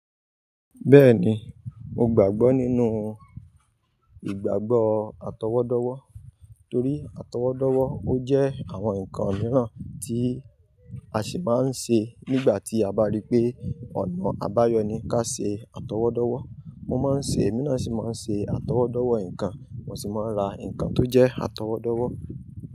Bẹ́ẹ̀ni, mo gbàgbọ́ nínú ìgbàgbọ́ atọwọ́dọ́wọ́ torí atọwọ́dọ́wọ́ ó jẹ́ àwọn nǹkan mìíràn tí a sì máa ń ṣe nígbà tí a bá rí pé ọ̀nà àbáyọ ni ká ṣe atọwọ́dọ́wọ́. Mo máa ń ṣe, èmi náà sì máa ń ṣe atọwọ́dọ́wọ́ nǹkan, mo sì máa ń ra nǹkan tó jẹ́ atọwọ́dọ́wọ́